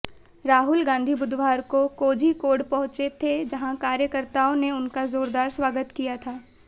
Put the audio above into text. राहुल गांधी बुधवार को कोझिकोड पहुंचे थे जहां कार्यकर्ताओं ने उनका जोरदार स्वागत किया था